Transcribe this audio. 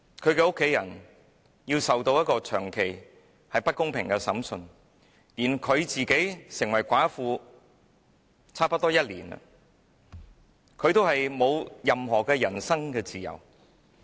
他的家人要接受長期不公平的審訊，而劉霞成為寡婦已差不多1年，但仍沒有人身自由。